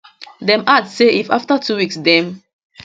dem add say if afta two weeks dem